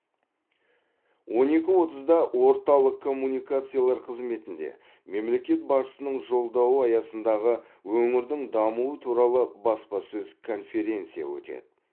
он екі отызда орталық коммуникациялар қызметінде мемлекет басшысының жолдауы аясындағы өңірдің дамуы туралы баспасөз конференция өтеді